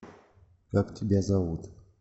как тебя зовут